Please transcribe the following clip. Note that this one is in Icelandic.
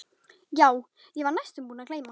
Já, ég var næstum búin að gleyma.